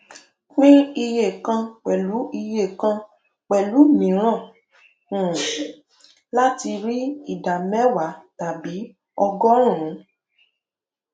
pín iye kàn pẹlú iye kàn pẹlú miíràn um láti rí ìdá mẹwàá tàbí ọgọrùnún